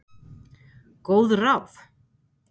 Góð ráð?